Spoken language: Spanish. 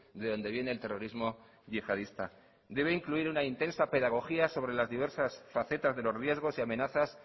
de donde viene el terrorismo yihadista debe incluir una intensa pedagogía sobre las diversas facetas de los riesgos y amenazas